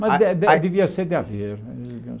Mas Ah ah De de devia ser de Aveiro.